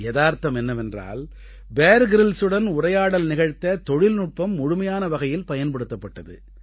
யதார்த்தம் என்னவென்றால் Bear Grylls உடன் உரையாடல் நிகழ்த்த தொழில்நுட்பம் முழுமையான வகையில் பயன்படுத்தப்பட்டது